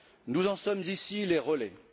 Nous en sommes ici les relais.